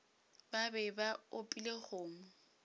ba be ba opile kgomo